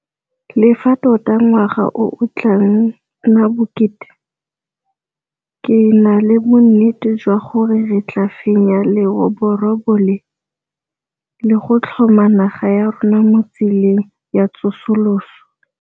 Le fa tota ngwaga o o tla nna bokete, ke na le bonnete jwa gore re tla fenya leroborobo le, le go tlhoma naga ya rona mo tseleng ya tsosoloso.